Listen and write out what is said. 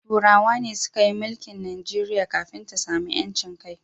Turawan ne suka yi milke Najeriya kafin ta samu ‘yancin kai.